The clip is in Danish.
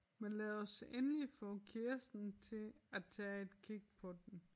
Men lad os endelig få Kirsten til at tage et kig på den